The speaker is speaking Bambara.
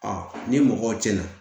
ni mɔgɔw tiɲɛna